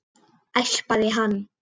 Espa hann.